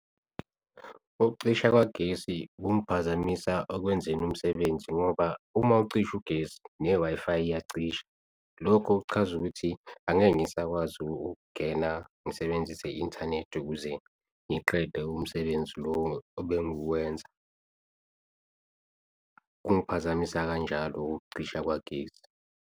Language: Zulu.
Ukucisha kwagesi kungiphazamisa okwenzweni umsebenzi ngoba uma ucisha ugesi ne-Wi-Fi iyacisha. Lokho kuchaza ukuthi angeke ngisakwazi ukungena, ngisebenzise i-inthanethi ukuze ngiqede umsebenzi lo obenguwenza kungiphazamisa kanjalo-ke ukucisha kukagesi.